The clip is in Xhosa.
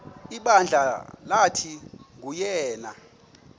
ibandla lathi nguyena